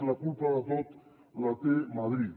la culpa de tot la té madrid